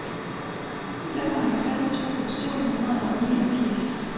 femoghalvtreds tusind syv hundrede og niogfirs